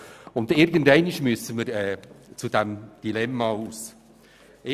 Irgendeinmal müssen wir dieses Dilemma hinter uns lassen.